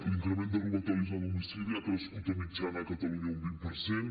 l’increment de robatoris a domicili ha crescut de mitjana a catalunya un vint per cent